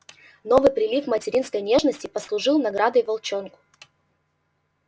новый прилив материнской нежности послужил наградой волчонку